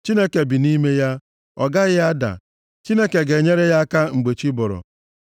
Chineke bi nʼime ya, ọ gaghị ada; Chineke ga-enyere ya aka mgbe chi bọrọ.